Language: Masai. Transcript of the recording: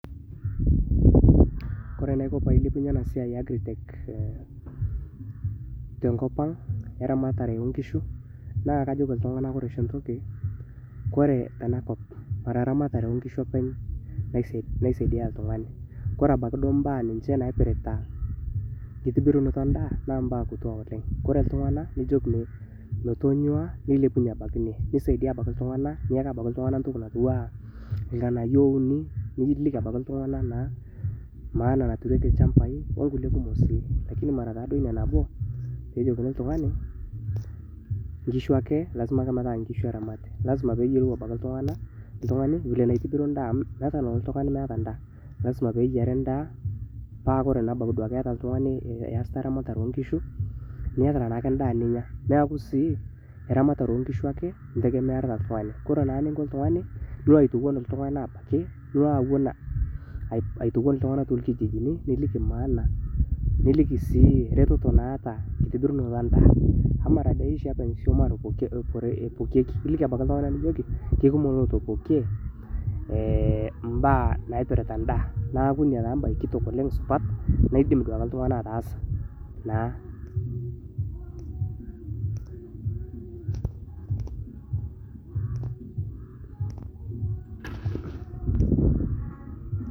Kore enaiko pailepunye ena siai e agritech te nkopang eramatare oo inkishu, naa kajoki ltungana kore enakop mara ramatare oo inkishu openy naisaidia ltungani, kore abaki duo imbaa ninche naipirta nkitibirunoto endaa naa imbaa kutua oleng, kore iltungana nijilko metonyuaa neilepunye abaki ninye, nisaidia abaki ltungana, niyaki abaki ltungan ntoki natiuwa ilng'anaiyo ouni niliki abaki ltungana naa emaana naturieki ilchambai oonkule tokitin. lakini mara taado iniaa nabo peejokini ltungani inkishu ake lasima ake metaa nkishu eramati, lasima peeyiolou abaki ltungani bile naitibiru indaa amu meata nalo iltungani emeeta indaa, lasima peyiari indaa paa ore naa duake ebaki ieta oltungani iyasita eramatre oo inkishu nieta naakwe indaa ninya, naaku sii iramatare oo inkishu ake integemearita oltungani, kore naa ninko oltungani nilo aitowon ltungana abaki, nilo awen aitowen ltungana te lkijijini niliki maana sii reteto naata nkitibirunoto endaa amu mara dei oshi keaku nkishu openy epokieki, iliki dei ltunganak nijoki kekumok lootopokie imbaa naipirita indaa naaku inia taa imbaye kitok oleng supat naidim duake oltungani ataasa naa.